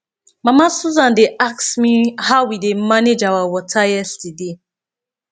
mama susan dey ask me how we dey manage our water yesterday